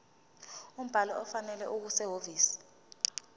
umbhalo ofanele okusehhovisi